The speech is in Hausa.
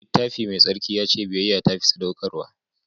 Littafi Mai Tsarki ya ce biyayya ta fi sadaukarwa.